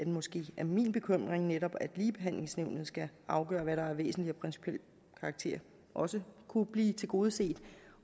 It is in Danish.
måske min bekymring netop at ligebehandlingsnævnet skal afgøre hvad der er af væsentlig og principiel karakter også kunne blive tilgodeset